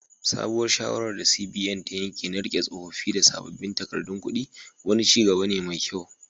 Sabuwar shawarar da CBN ta yanke na rike tsofaffin da sabbin takardun kudi, wani ci gaba ne mai kyau.